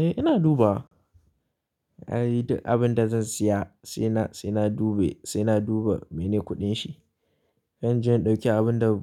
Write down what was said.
Eh ina dubawa. Abin da zan siya sai na, sai na dube, sai na duba mene kuɗin shi. Kar inje in ɗauki abin da